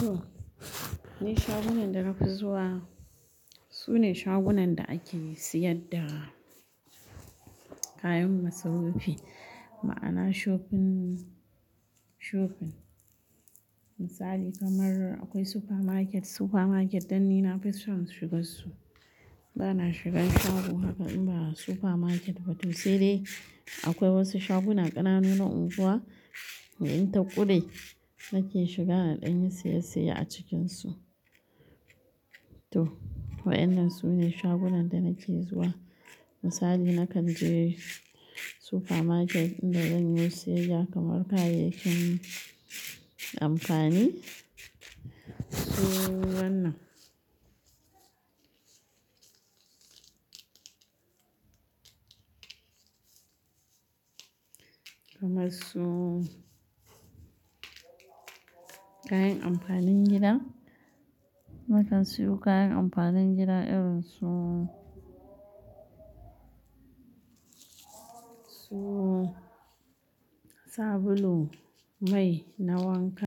To, ni shagunan da na fi zuwa. Su ne shagunan da ake siyar da kayan masarufi ma'ana shopping, shopping. Misali kamar aƙwai supermarket, supermarket dan ni nafi son shigar su. Bana shigan shago haka in ba supermarket ba to sai dai aƙwai wasu shaguna ƙananu na unguwa, in ta ƙure nake shiga na ɗanyi siyayya a cikinsu. To, waɗannan su ne shagunan da nake zuwa. Misali na kanje supermarket inda zanyo siyaya kamar kayayyakin amfani su wannan. Kamar su kayan amfanin gida. Nakan siyo kayan amfanin gida irin su, su sabulu, mai na wanka.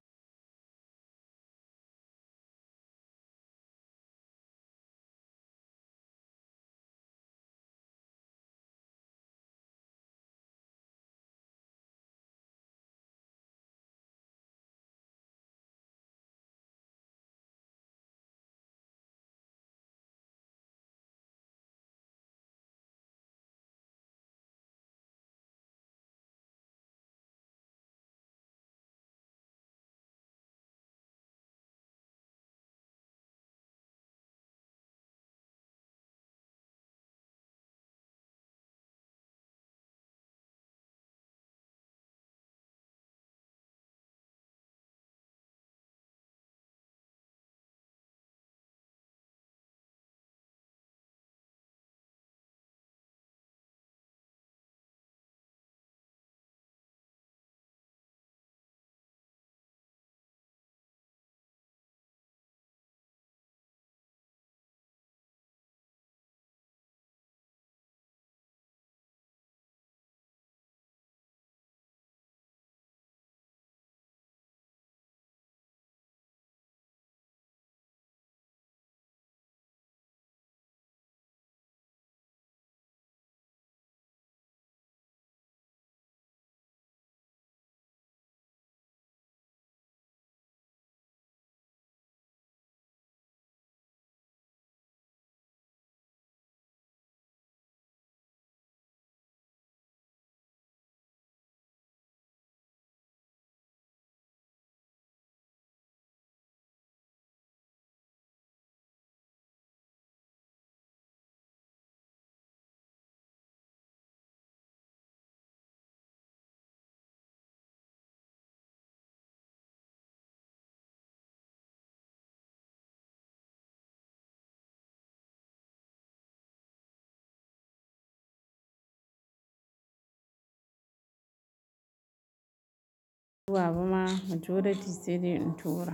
Baba ma majoriti sai dai in tura.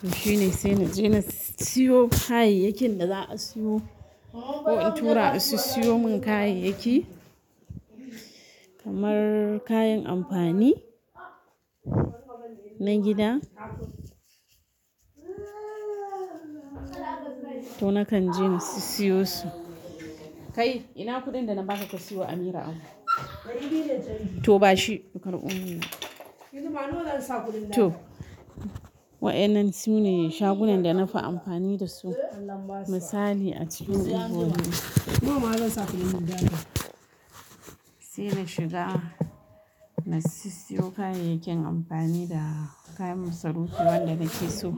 To shine sai naje na siyo kayayyakin da za'a siyo ko in tura a sissiyo min kayayyaki kamar kayan amfani na gida. To nakan je na sissiyo su. Kai, ina kuɗin da na baka ka siyo Amira abu? To bashi karbomin nan. To, waɗannan sune shagunan da nafi amfani da su misali a cikin unguwar nan. Saina shiga na siyo kayayyakin amfani da kayan masarufi waɗanda nake so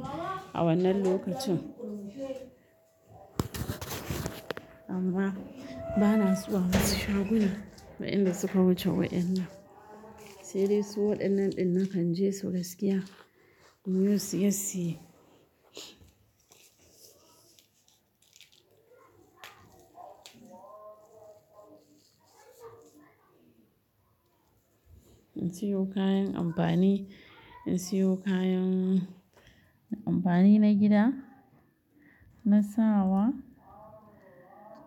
a wannan lokacin. Amma bana zuwa wasu shaguna waƴanda suka wuce waɗannan. Saidai su waɗannan ɗin nakan je su gaskiya inyo siyayya. In siyo kayan amfani, in siyo kayan amfani na gida, na sawa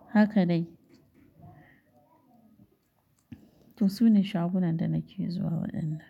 haka dai. To su ne shagunan da nake zuwa waɗannan.